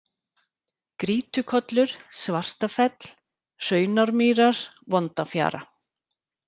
Grýtukollur, Svartafell, Hraunármýrar, Vondafjara